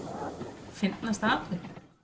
Fyndnasta atvik?